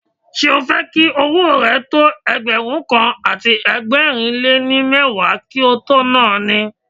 Ṣé o fẹ́ jẹ́ kí owó rẹ tó Ẹgbẹ̀rún kan àti ẹgbẹ̀rin lé ní mẹ́wàá kí o tó na ni?